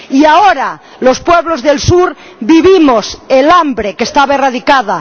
Y ahora los pueblos del sur vivimos el hambre, que estaba erradicada